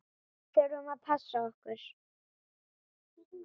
Þurftum að passa okkur.